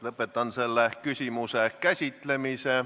Lõpetan selle küsimuse käsitlemise.